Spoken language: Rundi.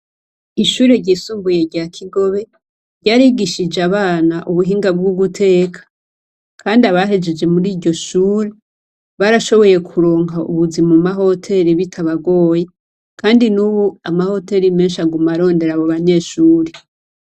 Ishure ryisumbuye rya Kigobe ryarigishije abana ubuhinga bwo guteka, kandi abahejeje mur'iryo shure, barashoboye kuronka ubuzi mu ma hoteri bitabagoye. Kandi n'ubu, ama hoteri menshi aguma arondera abo banyeshuri.